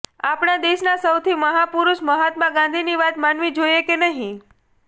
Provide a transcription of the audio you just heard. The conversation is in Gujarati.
આપણા દેશના સૌથી મહાપુરુષ મહાત્મા ગાંધીની વાત માનવી જોઇએ કે નહીં